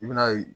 I bi n'a ye